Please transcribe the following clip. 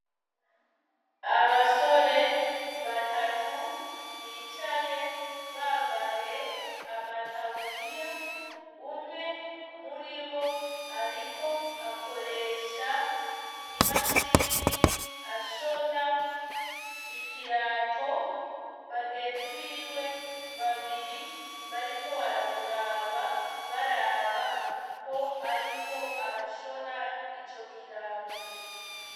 Abasore batatu bicaye bambaye amataburiya, umwe muri bo ariko akoresha imashini ashona ikirato, bagenzi biwe babiri bariko baramuraba, baraba uko ariko arashona ico kirato.